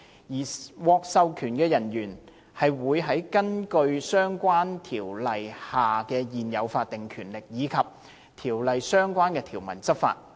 而獲授權人員會根據在相關條例下現有的法定權力，以及《條例》相關條文執法。